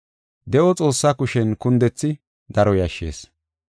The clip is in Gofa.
De7o Xoossaa kushen kundethi daro yashshees.